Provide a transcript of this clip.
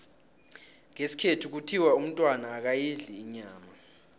ngesikhethu kuthiwa umntwana akayidli inyama